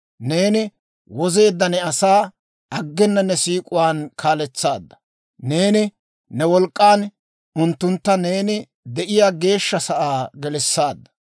«Neeni wozeedda ne asaa aggena ne siik'uwaan kaaletsaadda. Neeni ne wolk'k'an unttuntta neeni de'iyaa geeshsha sa'aa gelissaadda.